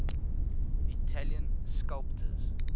italian sculptors